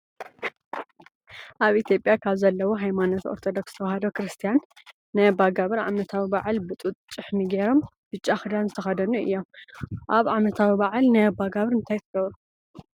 ኣብ ኢትዮጵያ ካብ ዘለው ሃይማኖታት ኦርቶዶክስ ተዋህዶ ክርስትያን ናይ ኣባ ጋብር ዓመታዊ ባዓል ብጡጥ ጭሕሚ ገሮም ብጫ ክዳን ዝተከደኑ እዮም። ኣብ ዓመታዊ ባዓል ናይ ኣባ ጋብር እንታይ ትገብሩ ?